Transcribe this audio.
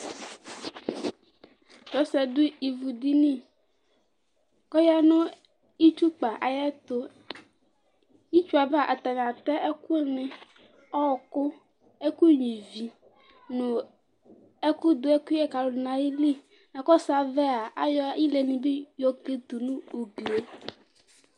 Tʋ ɔsɩ ƴɛ ɖʋ ivu ɖiniƆƴa nʋ itsuƙpa aƴɛtʋItsu ava, atanɩ atɛ ɛƙʋ nɩ; ɔƙʋ, ɛƙʋ nƴua ivi nʋ ɛƙ ɖʋ ɛƙʋƴɛ kalʋ n'aƴiliNa ƙɔsʋ avɛa, aƴɔ ile nɩ bɩ ƴɔ ƙlitu nʋ uglie